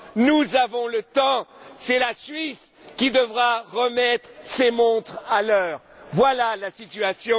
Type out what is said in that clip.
Nous avons le temps c'est la Suisse qui devra remettre ses montres à l'heure, voilà la situation.